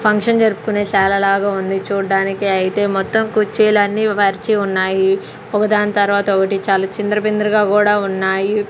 Function జరుపుకునే శాలలాగా ఉంది చూడ్డానికే అయితే మొత్తం కుర్చీలన్నీ పరిచి ఉన్నాయి ఒకదాని తర్వాత ఒకటి చాలా చిందరబింధరగా కూడా ఉన్నాయి.